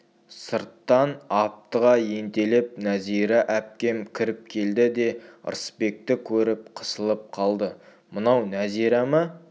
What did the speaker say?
сырттан аптыға ентелеп нәзира әпкем кіріп келді де ырысбекті көріп қысылып қалды мынау нәзира ма